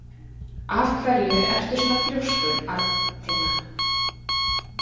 Af hverju ertu svona þrjóskur, Arntinna?